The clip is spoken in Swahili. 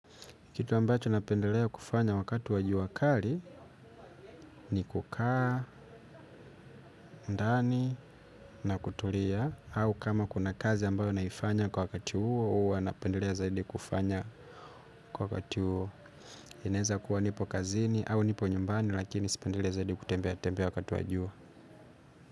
Kitu ambacho napendelea kufanya wakati wa jua kari ni kukaa, ndani na kutulia. Au kama kuna kazi ambayo naifanya kwa wakati huo huwa napendelea zaidi kufanya kwa wakati huo. Inaeza kuwa nipo kazini au nipo nyumbani lakini sipendelei zaidi kutembea tembea wakati wa jua.